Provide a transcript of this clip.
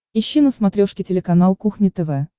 ищи на смотрешке телеканал кухня тв